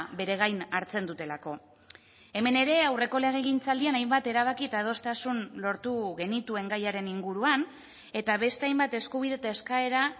beregain hartzen dutelako hemen ere aurreko legegintzaldian hainbat erabaki eta adostasun lortu genituen gaiaren inguruan eta beste hainbat eskubide eta eskaera